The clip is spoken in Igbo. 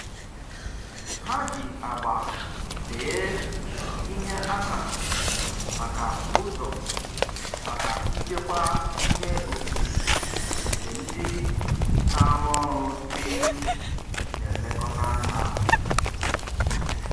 Ha ji agba see ihe akara maka ụzọ maka nchekwa ihe okike nke ndị na-arụ ọrụ n'efu na-elekọta anya.